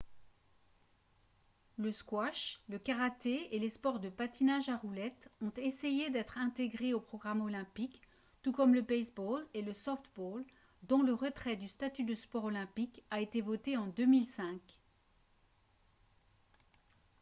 le squash le karaté et les sports de patinage à roulettes ont essayé d'être intégrés au programme olympique tout comme le baseball et le softball dont le retrait du statut de sport olympique a été voté en 2005